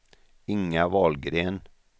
Inga Wahlgren